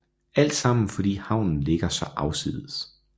Altsammen fordi havnen ligger så afsides